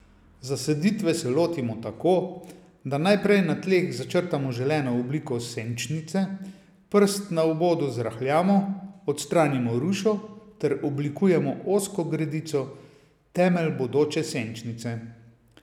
Zasaditve se lotimo tako, da najprej na tleh začrtamo želeno obliko senčnice, prst na obodu zrahljamo, odstranimo rušo ter oblikujemo ozko gredico, temelj bodoče senčnice.